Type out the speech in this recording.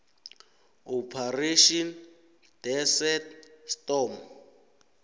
operation desert storm